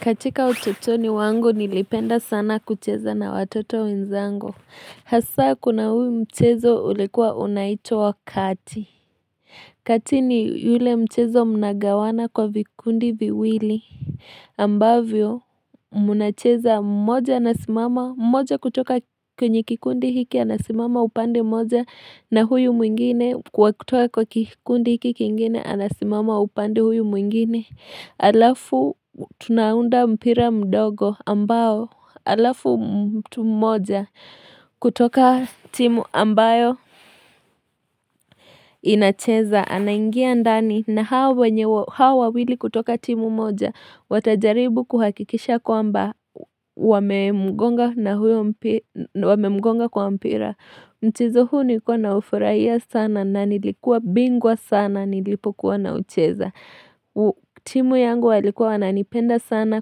Katika utotoni wangolu nilipenda sana kucheza na watoto wenzangu. Hasa kuna huyu mchezo ulikuwa unaitwa wakati. Kati ni yule mchezo mnagawana kwa vikundi viwili ambavyo munacheza mmoja anasimama. Mmoja kutoka kwenye kikundi hiki anasimama upande moja na huyu mwingine. Kwa kutoka kwa kikundi hiki kingine anasimama upande huyu mwingine. Alafu tunaunda mpira mdogo ambao alafu mtu moja kutoka timu ambayo inacheza anaingia ndani na hawa wawili kutoka timu moja watajaribu kuhakikisha kwamba wame mgonga kwa mpira mchezo huu nikuwa na ufurahia sana na nilikuwa bingwa sana nilipokuwa na ucheza timu yangu walikuwa wananipenda sana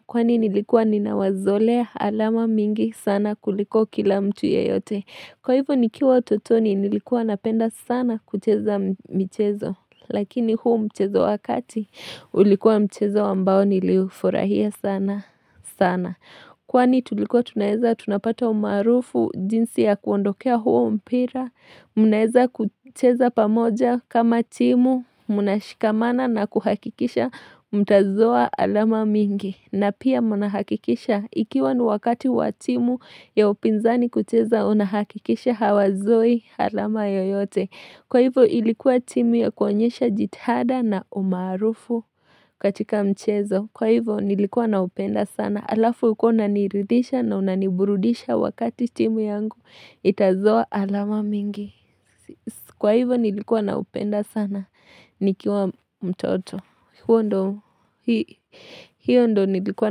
Kwani nilikuwa ninawazolea alama mingi sana kuliko kila mtu ya yote Kwa hivyo nikiwa totoni nilikuwa napenda sana kucheza mchezo Lakini huu mchezo wakati ulikuwa mchezo wambao nilifurahia sana Kwani tulikuwa tunaeza tunapata umarufu jinsi ya kuondokea huo mpira Mnaeza kucheza pamoja kama timu, muna shikamana na kuhakikisha, mtazoa alama mingi na pia muna hakikisha, ikiwa ni wakati wa timu ya upinzani kucheza, unahakikisha hawazoi alama yoyote Kwa hivyo ilikuwa timu ya kuonyesha jithada na umarufu katika mchezo Kwa hivyo nilikuwa na upenda sana, alafu ulikuwa una niridisha na unaniburudisha wakati timu yangu Itazoa alama mingi Kwa hivyo nilikuwa na upenda sana Nikiwa mtoto hiyo ndo nilikuwa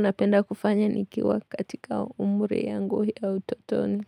napenda kufanya Nikiwa katika umuri yangu ya utotoni.